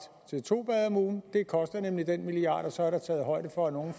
til to bade om ugen det koster nemlig den milliard og så er der taget højde for at nogle